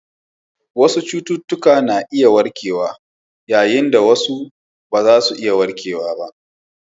Wasu cututtuka na iya warkewa yayin da wasu ba za su iya warkewa ba.